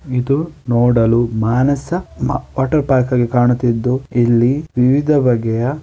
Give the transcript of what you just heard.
ಇದು ನೋಡಲು ಮಾನಸ ಮಾ ವಾಟರ್ ಪಾರ್ಕ್‌ ಆಗಿ ಕಾಣುತ್ತಿದ್ದು ಇಲ್ಲಿ ವಿವಿಧ ಬಗೆಯ--